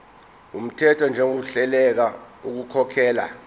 wumthetho njengohluleka ukukhokhela